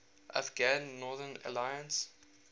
afghan northern alliance